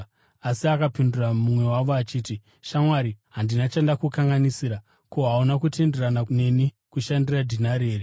“Asi akapindura mumwe wavo achiti, ‘Shamwari, handina chandakukanganisira. Ko, hauna kutenderana neni kushandira dhinari here?